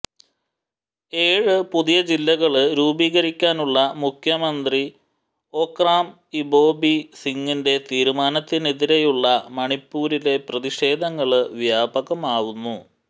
ഏഴ് പുതിയ ജില്ലകള് രൂപീകരിക്കാനുള്ള മുഖ്യമന്ത്രി ഒക്രാം ഇബോബി സിംഗിന്റെ തീരുമാനത്തിനെതിരെയുള്ള മണിപ്പൂരിലെ പ്രതിഷേധങ്ങള് വ്യാപകമാവുന്നു